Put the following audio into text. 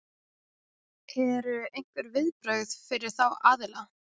Eru einhver viðbrögð fyrir þá aðila?